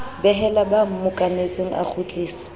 behela ba mmokanetseng a kgutlisa